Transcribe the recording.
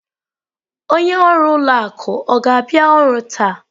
Onye ọrụ ụlọ akụ ọ ga-abịa ọrụ taa?